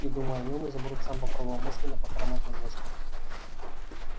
и думая о нем изумруд сам попробовал мысленно похромать немножко